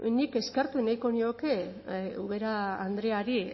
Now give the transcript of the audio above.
bueno nik eskertu nahiko nioke ubera andreari